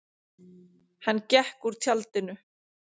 Hann gekk úr tjaldinu.